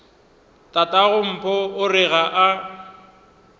tatagompho o re ga a